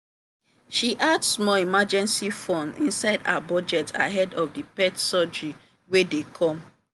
she add small emergency funds inside her budget ahead of the pet surgery wey dey coome.